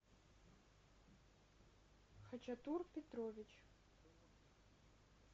хачатур петрович